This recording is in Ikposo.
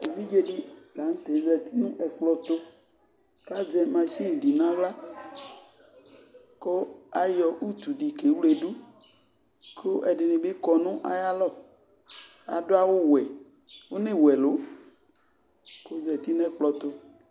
Evidze dɩ la nʋ tɛ zati nʋ ɛkplɔ tʋ kʋ azɛ masin dɩ nʋ aɣla kʋ ayɔ utu dɩ kewledu kʋ ɛdɩnɩ bɩ kɔ nʋ ayalɔ Adʋ awʋwɛ, ɔnewu ɛlʋ kʋ ɔzati nʋ ɛkplɔ tʋ